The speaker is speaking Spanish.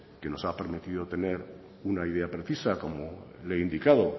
que nos ha permitido tener una idea precisa como le he indicado